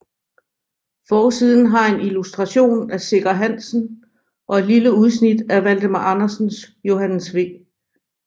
Forsiden har en illustration af Sikker Hansen og et lille udsnit af Valdemar Andersens Johannes V